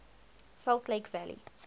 salt lake valley